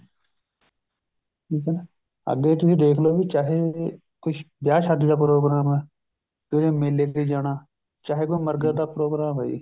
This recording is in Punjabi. ਠੀਕ ਹੈ ਅੱਗੇ ਤੁਸੀਂ ਦੇਖੋਲੋ ਵੀ ਚਾਹੇ ਕੁੱਝ ਵਿਆਹ ਸ਼ਾਦੀ ਦਾ ਪ੍ਰੋਗਰਾਮ ਹੈ ਵੀ ਉਹਨੇ ਮੇਲੇ ਤੇ ਜਾਣਾ ਚਾਹੇ ਕੋਈ ਮਰਗਤ ਦਾ ਪ੍ਰੋਗਰਾਮ ਹੋਏ